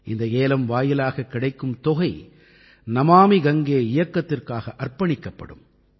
இந்த ஏலம் வாயிலாகக் கிடைக்கும் தொகை நமாமி கங்கே இயக்கத்திற்காக அர்ப்பணிக்கப்படும்